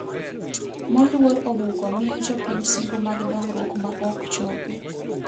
Moluor Obuko miyo jopiny singo mag dongruok maok chopi